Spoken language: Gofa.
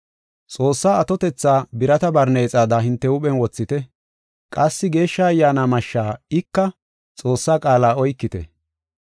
Xoossaa atotetha birata barneexada hinte huuphen wothite; qassi Geeshsha Ayyaana mashsha ika, Xoossaa qaala oykite.